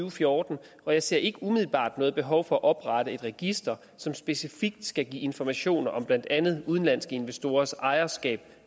og fjorten og jeg ser ikke umiddelbart noget behov for at oprette et register som specifikt skal give informationer om blandt andet udenlandske investorers ejerskab